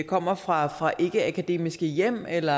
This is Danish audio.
kommer fra fra ikkeakademiske hjem eller